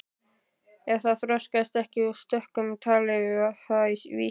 Ef það þroskaðist ekki í stökkum talaði það í vísum.